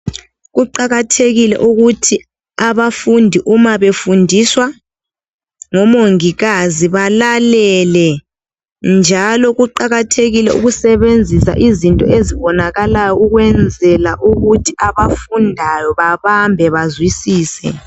Kuqakathekile ukuthi abafundi umabefundiswa ngomongikazi belalele. Njalo kuqakathekile ukusebenzisa izinto ezibonakalayo ukwenzela ukuthi abafundayo babambe bezwisise.